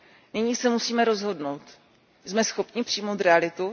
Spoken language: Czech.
Nyní se musíme rozhodnout Jsme schopni přijmout realitu?